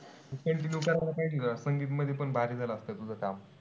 Continue करायला पाहिजे होत ना. संगीत मध्ये पण भारी झालं असत तुझं काम.